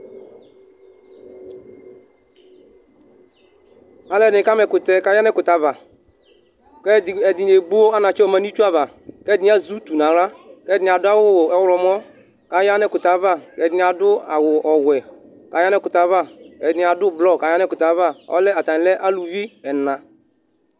Alʋɛdìní kama ɛkʋtɛ kʋ aya nʋ ɛkʋtɛ ava kʋ ɛdiní ebo anatsɛ yɔ yadu nʋ itsu ava kʋ ɛdíni azɛ ʋtu nʋ aɣla kʋ ɛdiní adu ɔwlɔmɔ kʋ aya nʋ ɛkʋtɛ ava Ɛdiní adu awu wɛ kʋ aya nʋ ɛkʋtɛ ava Ɛdiní adu blɔ kʋ aya nʋ ɛkʋtɛ ava Atani lɛ alʋvi ɛna